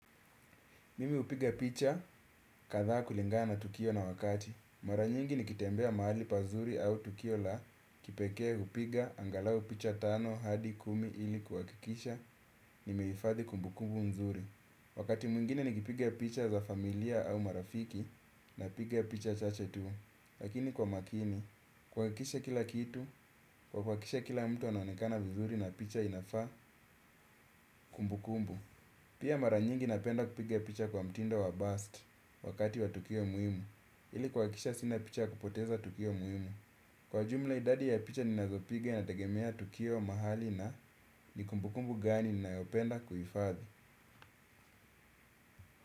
Mimi hupiga picha kadhaa kulingana na tukio na wakati. Mara nyingi nikitembea mahali pazuri au tukio la kipekee hupiga angalau picha tano hadi kumi ili kuhakikisha nimehifadhi kumbukumbu mzuri. Wakati mwingine nikipiga picha za familia au marafiki napiga picha chache tu. Lakini kwa makini, kuhakikisha kila kitu, kwa kuhakikisha kila mtu anaonekana vizuri na picha inafaa kumbukumbu. Pia mara nyingi napenda kupiga picha kwa mtindo wa burst wakati wa tukio muhimu. Ili kuhakikisha sina picha ya kupoteza tukio muhimu. Kwa jumla idadi ya picha ninazopiga inategemea tukio mahali na ni kumbukumbu gani ninayopenda kuhifadhi.